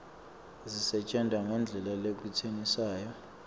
asisetjentwa ngendlela lekwenetisako